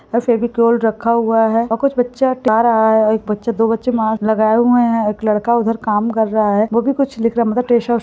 अ फेविकोल रखा हुआ है और कुछ बच्चा जा रहा है एक बच्चे दो बच्चे मास्क लगाए हुए हैं एक लड़का उधर काम कर रहा है वो भी कुछ लिख रहा मतलब --